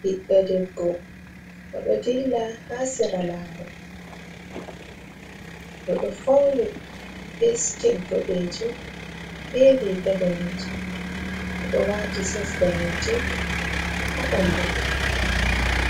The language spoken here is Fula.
Ɓiɗɗa debbo o ɗo dilla ha sira lawol, o ɗo fauni be siket boɗejum, be riga danejum, o ɗo wati sos danejum ha bandu mako,